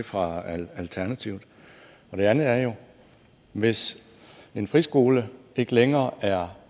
fra alternativet det andet er jo hvis en friskole ikke længere er